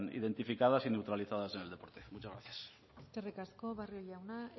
identificadas y neutralizadas en el deporte muchas gracias eskerrik asko barrio jauna